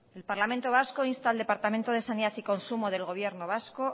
el parlamento vasco insta al departamento de sanidad y consumo del gobierno vasco